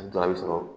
A dɔw a bɛ sɔrɔ